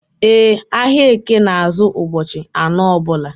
E, ahịa eke na azụ ụbọchị anọ ọbula